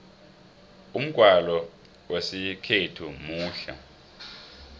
umgwalo wesikhethu muhle